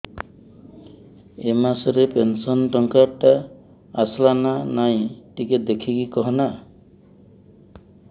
ଏ ମାସ ରେ ପେନସନ ଟଙ୍କା ଟା ଆସଲା ନା ନାଇଁ ଟିକେ ଦେଖିକି କହନା